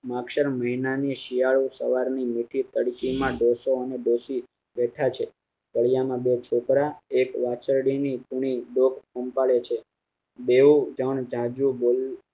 માગશર મહિનાની શિયાળો સવારની મીઠી તડકી માં ડોસો અને ડોસી બેઠા છે. ફળીયા માં બે છોકરા એક વાછરડી ની કૂણી ડોક પંપાલે છે. બેઉ જાણ જાજુ બોલતા